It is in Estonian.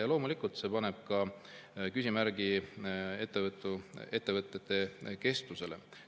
Ja loomulikult see paneb küsimärgi ettevõtete kestvusele.